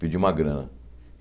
pedi uma grana.